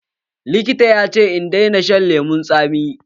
Likita ya ce in daina shan lemun tsami.